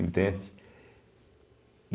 Entende?